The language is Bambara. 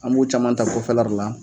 An b'u caman ta kɔfɛ la le la